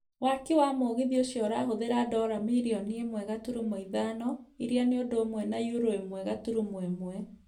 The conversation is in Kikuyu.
waki wa mũgithi ũcio urahũthira dora miri ĩmwe gaturumo ithano ĩrĩa nĩ ũndũ ũmwe na yurũ ĩmwe gaturumo ĩmwe